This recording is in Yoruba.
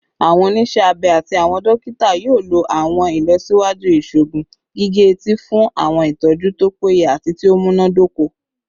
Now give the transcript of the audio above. Awọn oniṣẹ abẹ ati awọn dokita yoo lo awọn ilọsiwaju iṣoogun gige-eti fun awọn itọju to peye ati ti o munadoko